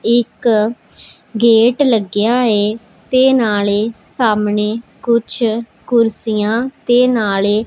ਇੱਕ ਗੇਟ ਲੱਗਿਆ ਏ ਤੇ ਨਾਲੇ ਸਾਹਮਣੇ ਕੁਝ ਕੁਰਸੀਆਂ ਤੇ ਨਾਲੇ --